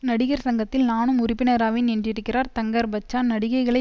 நடிகர் சங்கத்தில் நானும் உறுப்பினராவேன் என்றிருக்கிறார் தங்கர் பச்சான் நடிகைகளை